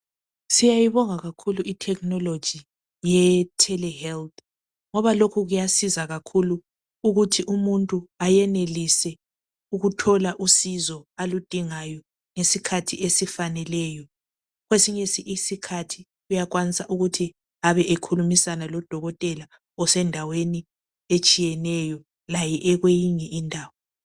Siyayibonga kakhulu iTecnology yeTelehealth ngoba lokhu kuyasiza kakhulu ukuthi umuntu ayenelise ukuthola usizo aludingayo ngesikhathi esifaneleyo kwesinye isikhathi uyakwanisa ukuthi abe esekhulumisana lodokotela osendaweni etshiyeneyo laye ekwenye indawo